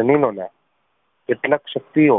જમીનો ના કેટલાક શક્તિઓ